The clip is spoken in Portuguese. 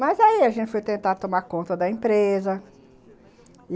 Mas aí a gente foi tentar tomar conta da empresa.